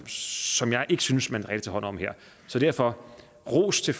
som jeg ikke synes at man reelt tager hånd om her derfor ros til